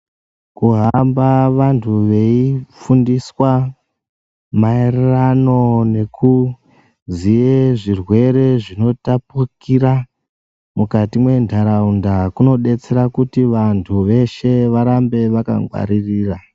Kuhamba vandu veifundiswa maererano nekuziye zvirwere zvinotapukira mukati mendaraunda kunodetsera kuti vandu veshe varambe vakangwaririra.